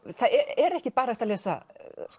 er ekki bara hægt að lesa